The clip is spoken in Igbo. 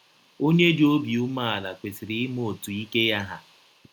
Ọnye dị obi umeala kwesịrị ịma otú ike ya hà.